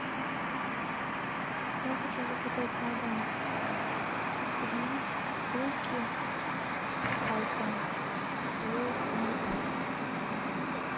я хочу заказать на дом три бутылки спрайта по ноль пять